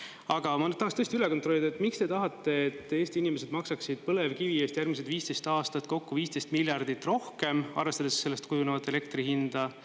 Aga ma tahaks tõesti üle kontrollida, et miks te tahate, et Eesti inimesed maksaksid põlevkivi eest järgmised 15 aastat kokku 15 miljardit rohkem, arvestades sellest kujunevat elektri hinda.